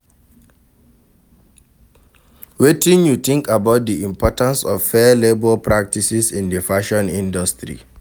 Wetin you think about di importance of fair labor practices in di fashion industry?